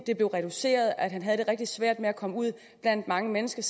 blev reduceret og at han havde det rigtig svært med at komme ud blandt mange mennesker